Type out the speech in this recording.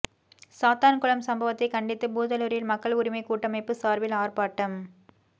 சாத்தான்குளம் சம்பவத்தை கண்டித்து பூதலூரில் மக்கள் உரிமை கூட்டமைப்பு சார்பில் ஆர்ப்பாட்டம்